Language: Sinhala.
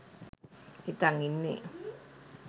හිතන් ඉන්නේ.